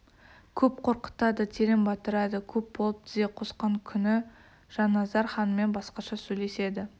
көп қорқытады терең батырады көп болып тізе қосқан күні жанназар ханмен басқаша сөйлеседі